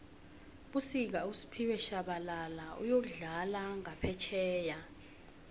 fbusika usphiwe shabala uyokudlala ngaphefjheya